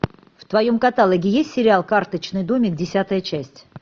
в твоем каталоге есть сериал карточный домик десятая часть